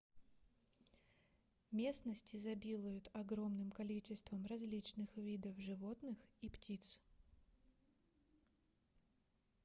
местность изобилует огромным количеством различных видов животных и птиц